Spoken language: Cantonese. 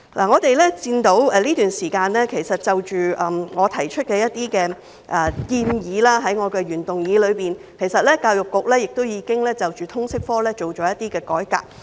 我們看到，在這段時間，就着我在原議案中提出的一些建議，其實教育局已對通識科進行一些改革。